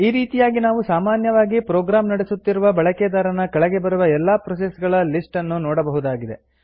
ಈ ರೀತಿಯಾಗಿ ನಾವು ಸಾಮಾನ್ಯವಾಗಿ ಪ್ರೊಗ್ರಾಮ್ ನಡೆಸುತ್ತಿರುವ ಬಳಕೆದಾರನ ಕೆಳಗೆ ಬರುವ ಎಲ್ಲಾ ಪ್ರೋಸೆಸ್ ಗಳ ಲಿಸ್ಟ್ ಅನ್ನು ನೋಡಬಹುದಾಗಿದೆ